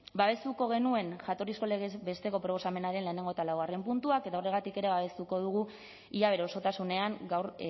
babestuko genuen jatorrizko legez besteko proposamenaren lehenengo eta laugarren puntuak eta horregatik ere babestuko dugu ia bere osotasunean gaur